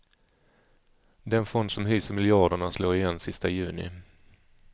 Den fond som hyser miljarderna slår igen sista juni.